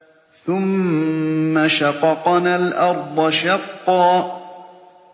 ثُمَّ شَقَقْنَا الْأَرْضَ شَقًّا